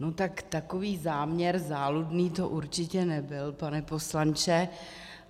No tak takový záměr záludný to určitě nebyl, pane poslanče.